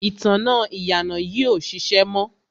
ìtanná ìyànà yìí ò ṣiṣẹ́ mọ́.